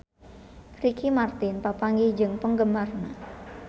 Ricky Martin papanggih jeung penggemarna